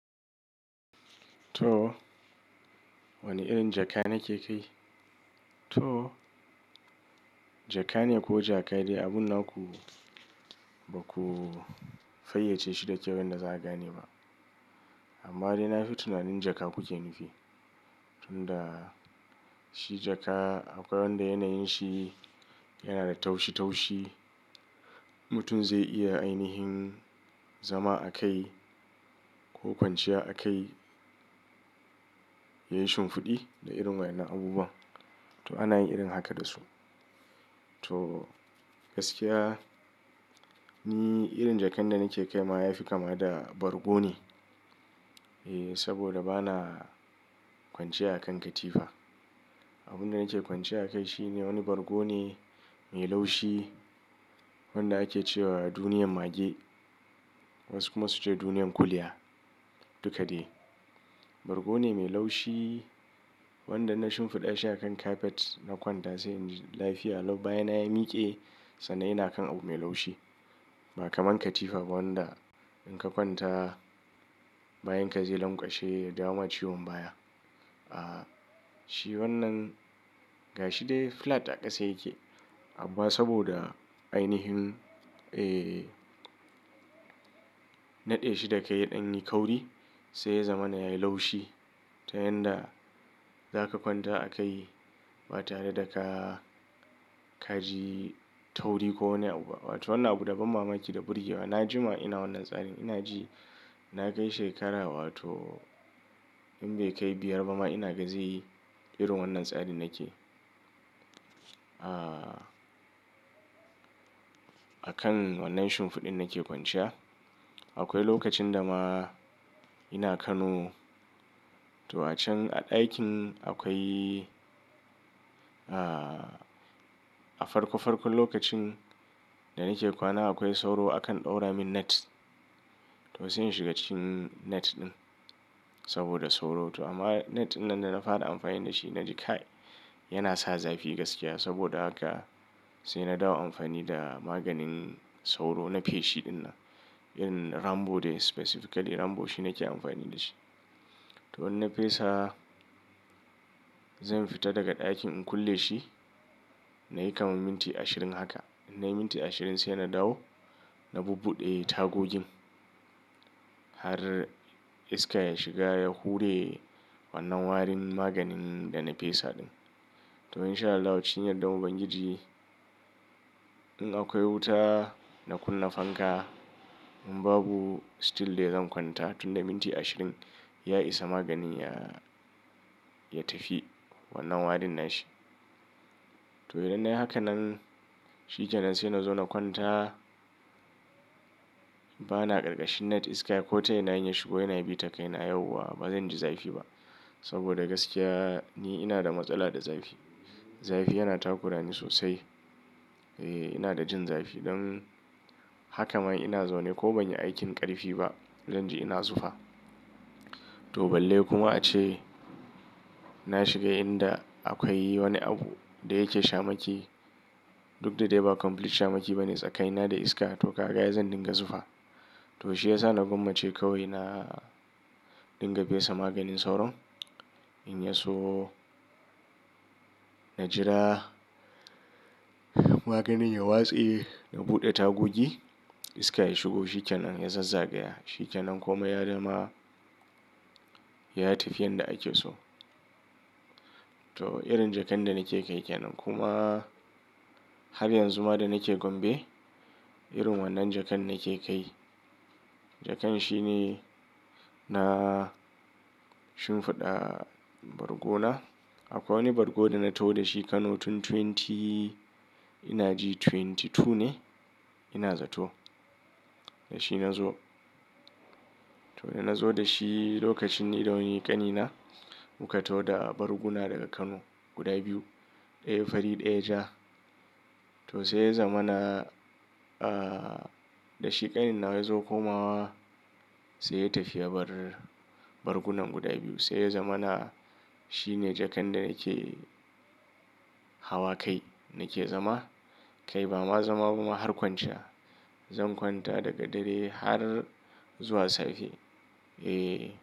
To wane irin jaka nake kai? To jaka ne ko jaka dai abun naku ba ku fayyace shi da kyawun da za a gane ba. Amma dai na fi tunanin jaka kuke nufi. Tun da shi jaka akwai wanda yanayin shi yana da taushi taushi, mutum zai iya ainihin zama a kai ko kwanciya a kai ya yi shimfiɗi da irin wannan abubuwan. To ana yin irin haka da su. To gaskiya ni irin jakan da nake kai ma yafi kama da bargo ne. Eh saboda bana kwanciya a kan katifa. Abunda nake kwanciya a kai shine wani bargo ne mai laushi wanda ake cewa duniyan mage wasu kuma su ce duniyan kuliya duka dai. Bargo ne mai laushi wanda na shimfiɗa shi a kan kafet na kwanta sai in ji lafiya. Lau bayana yamiƙe sannan ina kan abu mai laushi ba kamar katifa ba wanda in ka kwanta bayan ka je lankwashe ya dama ciwon baya. Ah shi wannan gashi dai flat a ƙasa yake amma saboda ainihin eh naɗe shi da kai idan yayi kauri sai ya zama na yayi laushi ta yanda za ka kwanta a kai ba tare da ka kaji tauri ko wani abu ba. Wato wannan abu daban mamaki da burge wa. Na jima ina wannan tsarin ina ji na kai shekara wato in bai kai biyar ba ma ina gazi yi irin wannan tsarin nake. Ah a kan wannan shimfiɗin nake kwanciya. Akwai lokacin da ma ina Kano to a can a ɗakin akwai ah a farko farkon lokacin da nake kwana akwai sauro a kan ɗaura min net. To sai in shiga cikin net ɗin saboda sauro. To amma net dinnan da na fara amfani da shi na ji kai yana sa zafi gaskiya saboda haka sai na dawo amfani da maganin sauro na feshi dinnan irin Rambo dai specifically Rambo shine ke amfani da shi. To in na fesa zan fita daga ɗakin in kulle shi na yi kamar minti ashirin haka. In na yi minti ashirin sai na dawo na bubbuɗe tagogin har iska ya shiga ya hure wannan warin maganin da na fesa ɗin. To in sha Allah wancin yaɗa Ubangiji. In akwai wuta na kunna fanka in babu still dai zan kwanta tun da minti ashirin ya isa maganin ya, ya tafi wannan warin nashi. To idan na yi hakan nan shi ƙanan sai na zo na kwanta bana karkashin net iska ko tai na yina shigo yana bi ta kai na yauwa bazan ji zafi ba saboda gaskiya ni ina da matsala da zafi. Zafi yana takura ni sosai. Eh ina da jin zafi. Don haka ma ina zaune ko ban yi aikin ƙarfi ba zan ji ina zufa. To balle kuma ace na shiga inda akwai wani abu da yake shamaki duk da dai ba complete shamaki bane tsakaina da iska to ka gan ai zan dinga zufa. To shi ya sa na gwammace kawai na dinga fesa maganin sauron in ya so na jira maganin ya watse na buɗe tagogi iska ya shigo shi ƙenan ya zazzagaya shi ƙenan komai ya dama ya tafi yanda ake so. To irin jakan da nake kai ƙanan kuma har yanzu ma da nake gombe irin wannan jakan nake kai. Jakan shine na shimfiɗa bargona. Akwai wani bargo da na taho da shi Kano tun twenty ina ji twenty two ne ina zato da shi na zo. To da na zo da shi lokacin idan unyi ƙanina muka taho da barguna daga Kano guda biyu. Ɗaya fari ɗaya ja. To sai ya zama na ah da shi ƙanin na ya zo komawa sai ya tafi ya bar bargunan guda biyu. Sai ya zama na shine jakan da nake hawa kai nake zama kai ba ma zama kuma har kwanciya. Zan kwanta daga dare har zuwa safe. Eh.